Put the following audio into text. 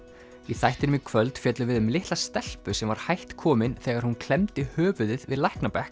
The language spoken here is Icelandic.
í þættinum í kvöld fjöllum við um litla stelpu sem var hætt komin þegar hún klemmdi höfuðið við